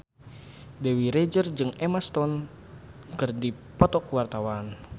Dewi Rezer jeung Emma Stone keur dipoto ku wartawan